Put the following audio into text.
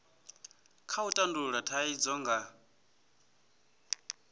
kha u tandulula thaidzo nga